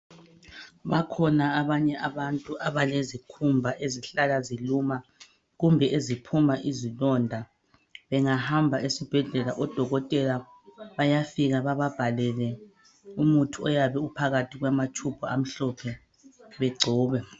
Bakhona abanye abantu abalezikhumba ezihlala ziluma kumbe eziphuma izilonda. Bengahamba esibhedlela odokotela bayafika bababhalele umuthi oyabe uphakathi kwamatshubhu amhlophe begcobe.